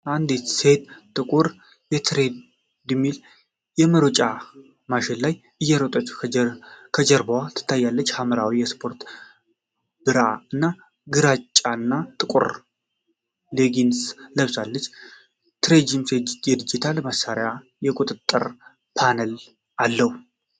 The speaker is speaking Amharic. አንዲት ሴት ጥቁር ትሬድሚል (የመሮጫ ማሽን) ላይ እየሮጠች ከጀርባዋ ትታያለች። ሐምራዊ ስፖርታዊ ብራ እና ግራጫና ጥቁር ሌጊንግስ ለብሳለች። ትሬድሚሉ የዲጂታል ማሳያ እና የቁጥጥር ፓነል አለው።